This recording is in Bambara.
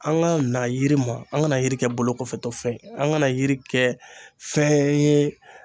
An ka na yiri ma, an ka na na yiri kɛ bolo kɔfɛtɔ fɛn ye ,an ka na yiri kɛ fɛn ye